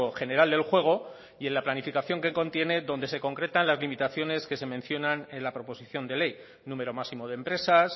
general del juego y en la planificación que contiene donde se concretan las limitaciones que se mencionan en la proposición de ley número máximo de empresas